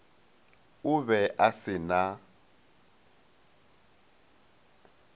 o be a se na